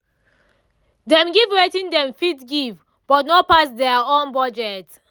dem give wetin dem fit give but no pass their own budget